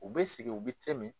U bɛ sigi u be te min